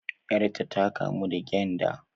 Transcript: Yar ta ta kamu da gyanda